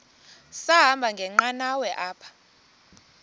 sahamba ngenqanawa apha